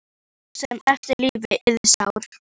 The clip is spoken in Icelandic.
Að sá sem eftir lifði yrði sár.